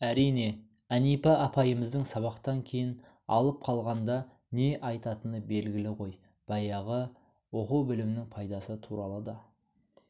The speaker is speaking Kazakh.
әрине әнипа апайымыздың сабақтан кейін алып қалғанда не айтатыны белгілі ғой баяғы оқу-білімнің пайдасы туралы да